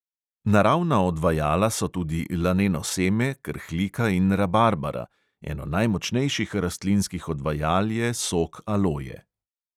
Naravna odvajala so tudi laneno seme, krhlika in rabarbara, eno najmočnejših rastlinskih odvajal je sok aloje.